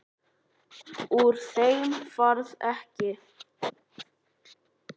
Úr þeim varð ekki.